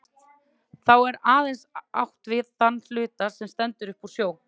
Þá er aðeins átt við þann hluta, sem stendur upp úr sjó.